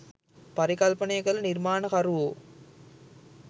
පරිකල්පනය කළ නිර්මාණකරුවෝ